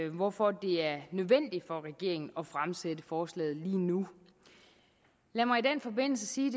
hvorfor det er nødvendigt for regeringen at fremsætte forslaget lige nu lad mig i den forbindelse sige